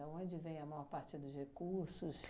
Da onde vem a maior parte dos recursos?